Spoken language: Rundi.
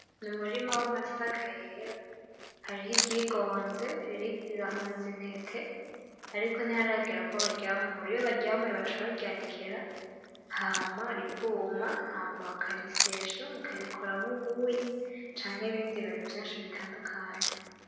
N'umurima w'amasaka yera, hariho iryigonze, rirahunze intete, ariko ntiharagera ko baryamura ; iyo baryamuye baca baryanikira, hama rikuma ,hama bakarisyesha bakarikoramwo ubuyi ,canke ibindi bintu vyinshi bitandukanye.